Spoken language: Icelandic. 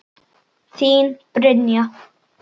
Þín, Brynja.